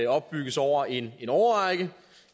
opbygges over en årrække